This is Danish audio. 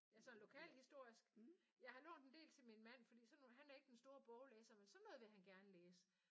Altså sådan lokalhistorisk? Jeg har lånt en del til min mand fordi sådan nogle og han er ikke den store boglæser men sådan noget vil han gerne læse